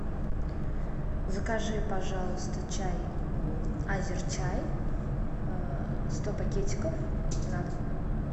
закажи пожалуйста чай азерчай сто пакетиков на дом